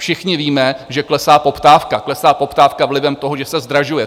Všichni víme, že klesá poptávka, klesá poptávka vlivem toho, že se zdražuje.